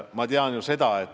Ma ju tean seda.